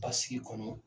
Basigi kɔnɔ